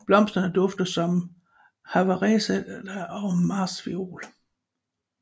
Blomsterne dufter som havereseda og martsviol